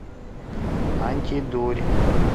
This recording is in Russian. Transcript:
антидурь